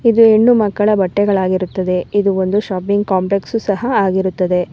ಇದು ಹೆಣ್ಣು ಮಕ್ಕಳ ಬಟ್ಟೆಗಳಾಗಿರುತ್ತದೆ ಇದು ಒಂದು ಶಾಪಿಂಗ್ ಕಾಂಪ್ಲೆಕ್ಸ್ ಸಹ ಆಗಿರುತ್ತದೆ.